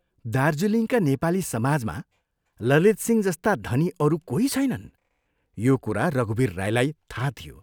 दार्जीलिङका नेपाली समाजमा ललितसिंह जस्ता धनी अरू कोही छैनन्, यो कुरा रघुवीर राईलाई थाह थियो।